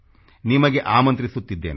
ನಿಮಗೆ ಆಮಂತ್ರಿಸುತ್ತಿದ್ದೇನೆ